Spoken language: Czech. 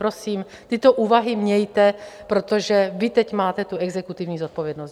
Prosím, tyto úvahy mějte, protože vy teď máte tu exekutivní zodpovědnost.